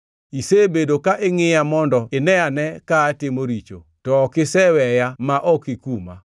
Isebedo ka ingʼiya mondo ineane ka atimo richo, to ok iseweya ma ok ikuma.